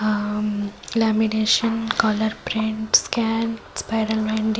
ଆମ୍ lamination colour print scan spiral ବାନ୍ଡି ।